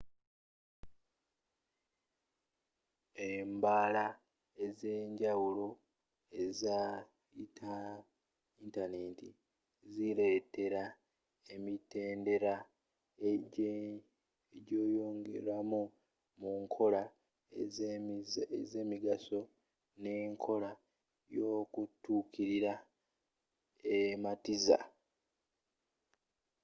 embala ez'enjawulo eza yintaneti ziletela emitendera egyeyongeramu mu nkola ez'emigaso ne nkola y'okutukilira ematiza